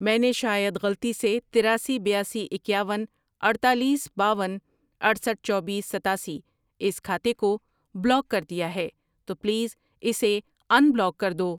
میں نے شاید غلطی سے تراسی، بیاسی، اکیاون، اڈتالیس، باون، اٹھسٹھ ،چوبیس، ستاسی اس کھاتے کو بلاک کر دیا ہے، تو پلیز اسے ان بلاک کر دو۔